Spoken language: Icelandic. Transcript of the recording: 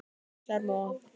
Kjarrmóa